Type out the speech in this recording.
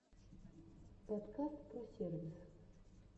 подкаст про сервис